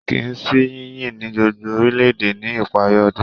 Kìí sì yìnyín ní gbogbo orílẹ̀-èdè ní ìparí ọdún.